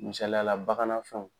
Misaliyala baganan fɛnw.